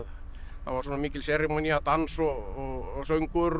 það var svona mikil dans og söngur